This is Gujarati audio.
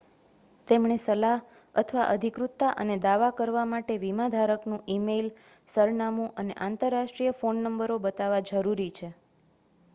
તેમણે સલાહ/ અધિકૃતતા અને દાવા કરવા માટે વીમાધારકનું ઇમેઇલ સરનામું અને આંતરરાષ્ટ્રીય ફોન નમ્બરો બતાવવા જરૂરી છે